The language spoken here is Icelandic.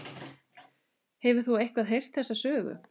Hefur þú eitthvað heyrt þessa sögu?